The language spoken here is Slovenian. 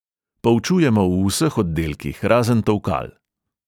Poučujemo v vseh oddelkih razen tolkal.